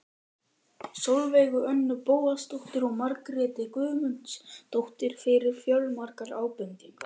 Sólveigu Önnu Bóasdóttur og Margréti Guðmundsdóttur fyrir fjölmargar ábendingar.